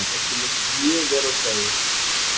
Okkur leist mjög vel á svæðið